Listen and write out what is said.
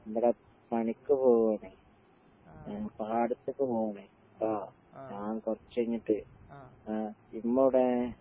ഇവടെ പണിക്ക് പോവാനായി. ഞാൻ പാടത്ത്ക്ക് പോവാനായി ട്ടോ. ഞാങ്കൊറച്ചഴിഞ്ഞിട്ടേ ആഹ് ഇമ്മെവടെ?